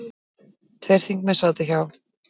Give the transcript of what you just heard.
Tveir þingmenn sátu hjá.